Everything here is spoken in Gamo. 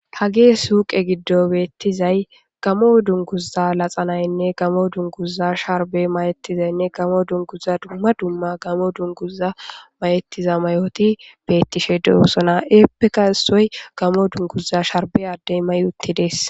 Hage suuqe giddo beettizay gamo dunguza laxanaynne gamo dunguza sharbe mayettizaynne gamo dunguza dumma dumma gamo dunguza mayettiza mayoti beettishe deosona eeppeka isoy gamo dunguza sharbe addey mayuttidees